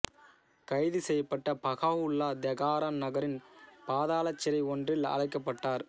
கைது செய்யப்பட்ட Baha'u'llah Tehran நகரின் பாதாளச் சிறை ஒன்றில் அடைக்கப்பட்டார்